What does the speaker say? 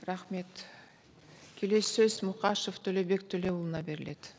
рахмет келесі сөз мұқашев төлеубек төлеуұлына беріледі